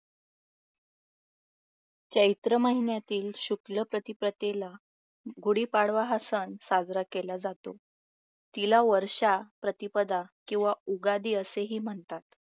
चैत्र महिन्यातील शुक्ल प्रतिपदेला गुढीपाडवा हा सण साजरा केला जातो तिला वर्षा प्रतिपदा किंवा उगादी असेही म्हणतात